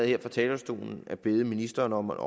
her fra talerstolen at bede ministeren om at